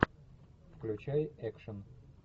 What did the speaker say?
включай экшн